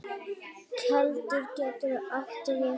Keldur getur átt við